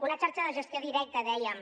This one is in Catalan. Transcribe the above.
una xarxa de gestió directa dèiem